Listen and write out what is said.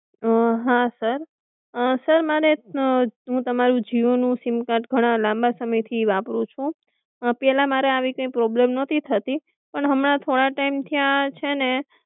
હા sir, sir મારે, હું તમારું જીઓ નું સીમ કાર્ડ ઘણા લાંબા સમય થી વાપરું છુ પેલા મારે આવી કઈ પ્રોબ્લેમ નતી થતી પણ હમના થોડા ટીમે થી આ છેને